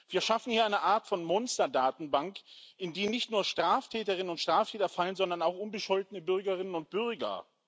Wir schaffen hier eine Art von Monsterdatenbank, in die nicht nur Straftäterinnen und Straftäter fallen, sondern auch unbescholtene Bürgerinnen und Bürger.